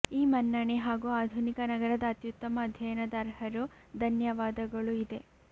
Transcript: ಈ ಮನ್ನಣೆ ಹಾಗೂ ಆಧುನಿಕ ನಗರದ ಅತ್ಯುತ್ತಮ ಅಧ್ಯಯನದ ಅರ್ಹರು ಧನ್ಯವಾದಗಳು ಇದೆ